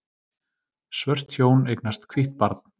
Svört hjón eignast hvítt barn